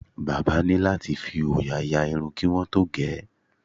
Bábà ní láti fi òòyà ya irun kí wọ́n tó ge